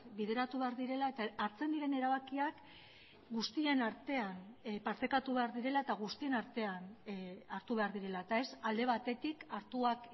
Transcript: bideratu behar direla eta hartzen diren erabakiak guztien artean partekatu behar direla eta guztien artean hartu behar direla eta ez alde batetik hartuak